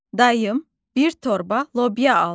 Dayım bir torba lobya aldı.